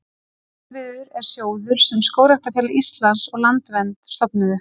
Kolviður er sjóður sem Skógræktarfélag Íslands og Landvernd stofnuðu.